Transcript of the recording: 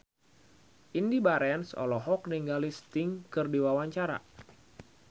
Indy Barens olohok ningali Sting keur diwawancara